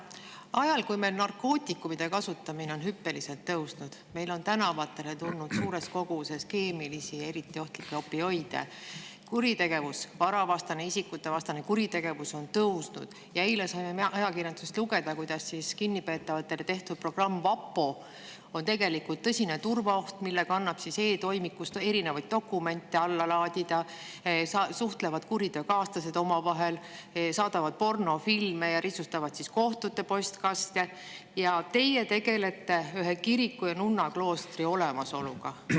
Ajal, kui meil narkootikumide kasutamine on hüppeliselt tõusnud ja tänavatele on tulnud suures koguses keemilisi eriti ohtlikke opioide; varavastane ja isikuvastane kuritegevus on tõusnud; eile saime ajakirjandusest lugeda, kuidas kinnipeetavatele tehtud programm VaPo on tegelikult tõsine turvaoht, sest selle kaudu annab e-toimikust dokumente alla laadida, kuriteokaaslased suhtlevad omavahel, saadavad pornofilme ja risustavad kohtute postkaste, tegelete teie ühe kiriku ja nunnakloostri olemasoluga.